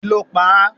kí ló pa á?